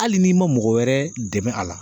Hali n'i ma mɔgɔ wɛrɛ dɛmɛ a la